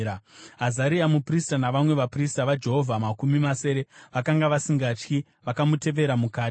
Azaria muprista navamwe vaprista vaJehovha makumi masere vakanga vasingatyi vakamutevera mukati.